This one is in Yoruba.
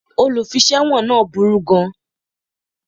Olùfiṣẹ̀wọ̀n náà burú gan